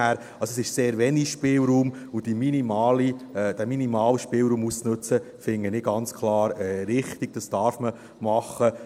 Also, es gibt sehr wenig Spielraum und diesen minimalen Spielraum auszunützen, finde ich ganz klar richtig, das darf man machen.